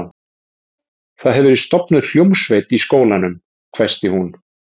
Það hefur verið stofnuð hljómsveit í skólanum hvæsti hún.